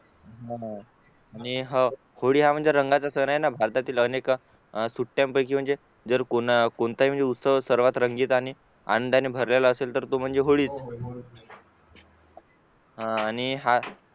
होळी हा म्हणजे रंगाचा सण आहे भारतातील अनेक सुट्यानपैकी म्हणजे जर कोणताही उत्सव सर्वात रंगीत आणि आनंदाने भरलेला असेल तो म्हणजे होळीच हा आणि